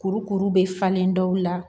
Kurukuru bɛ falen dɔw la